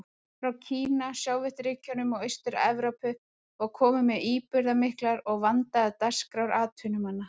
Frá Kína, Sovétríkjunum og Austur-Evrópu var komið með íburðarmiklar og vandaðar dagskrár atvinnumanna.